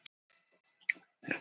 Við höfum þekkst lengi, Friðrik.